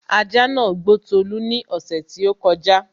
ajá nàá gbó Tolú ní ọ̀ṣẹ̀ tí ó kọjá